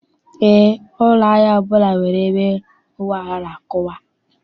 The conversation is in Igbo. Eé, ụlọ ahịa ọbụla nwere ebe ụgbọala na-akwụwa.